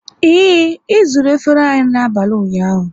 Ee, e zuru efere anyị n'abalị ụnyaahụ